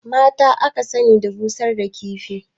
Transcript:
Mata aka sani da busar da kifi